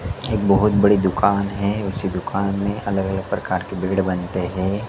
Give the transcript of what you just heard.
एक बहोत बड़ी दुकान है उस दुकान में अलग अलग प्रकार के बेड बनते हैं।